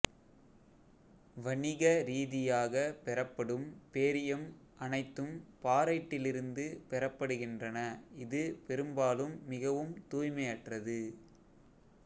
வணிக ரீதியாக பெறப்படும் பேரியம் அனைத்தும் பாரைட்டிலிருந்து பெறப்படுகின்றன இது பெரும்பாலும் மிகவும் தூய்மையற்றது